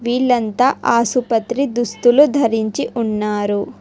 వీళ్లంతా ఆసుపత్రి దుస్తులు ధరించి ఉన్నారు.